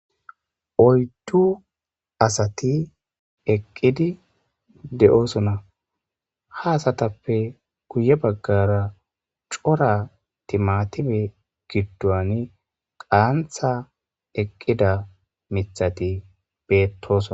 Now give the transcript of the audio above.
Oyddu asati eqqidi de'osona. Ha asatappe guye bagara cora timmatime gidduwan qantha eqqida miththati bettosona.